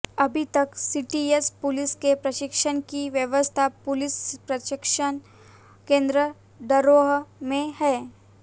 अभी तक CTS police के प्रशिक्षण की व्यवस्था पुलिस प्रशिक्षण केंद्र डरोह में है